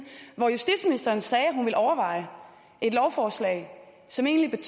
hvor justitsministeren sagde at hun ville overveje et lovforslag som egentlig